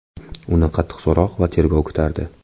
Uni qattiq so‘roq va tergov kutardi.